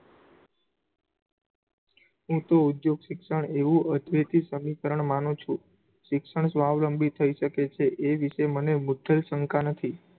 હું તો ઉદ્ધયોગ શિક્ષણ એવું અદ્વિતીય સમીકરણ માનું છું, શિક્ષણ સ્વાવલંબી થયી શકે છે, એ વિષે મને મુદ્વેલ શંકા નથી.